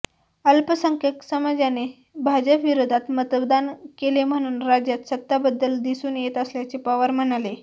अल्पसंख्याक समाजाने भाजपविरोधात मतदान केले म्हणून राज्यात सत्ताबद्दल दिसून येत असल्याचे पवार म्हणाले